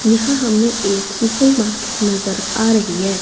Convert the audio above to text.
यहां हमें एक सुपरमार्केट नजर आ रही है।